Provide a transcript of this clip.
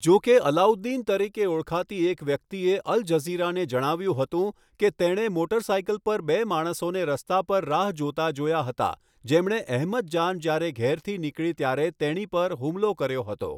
જો કે, અલ્લાઉદ્દીન તરીકે ઓળખાતી એક વ્યક્તિએ અલ જઝીરાને જણાવ્યું હતું કે તેણે મોટરસાયકલ પર બે માણસોને રસ્તા પર રાહ જોતા જોયા હતા, જેમણે અહેમદ જાન જ્યારે ઘેરથી નીકળી ત્યારે તેણી પર હુમલો કર્યો હતો.